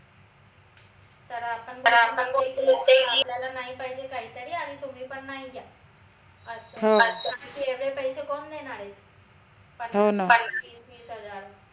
तर आपन अपल्याला नाही पाहिजे काहीतरी आणि तुम्ही पण नाई द्या अस एवढे पैसे कोन देनार ए पंचवीस नीस हजार